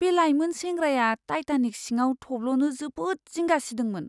बे लायमोन सेंग्राया टाइटानिक सिङाव थब्ल'नो जोबोद जिंगा सिदोंमोन।